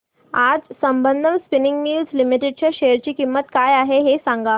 आज Sambandam spinning mills limited च्या share ची किंमत काय आहे हे सांगा